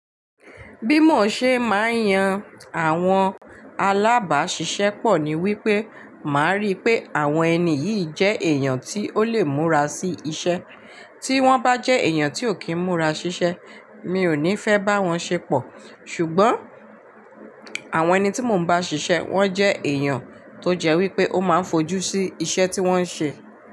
Bímọ̀ ṣe máa ń yan àwọn alábáṣiṣẹ́ pọ̀ ni wípé, màá rí pé àwọn ẹni yìí jẹ́ èèyàn tí ó lè múra sí iṣẹ́. Tí wọ́n bá jẹ́ èèyàn tí ò kí ń múra síṣẹ́, mi ò ní fẹ́ bá wọn ṣe pọ̀. Ṣùgbọ́n àwọn ẹni tí mò ń bá ṣiṣẹ́, wọ́n jẹ́ èèyàn tó jẹ́ wípé ó máa ń fojú sí iṣẹ́ tí wọ́n ń ṣe.